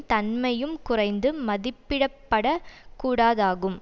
தன்மையும் குறைந்து மதிப்பிடப்படக்கூடாதாகும்